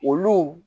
Olu